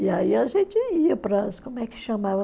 E aí a gente ia para as... Como é que chamava?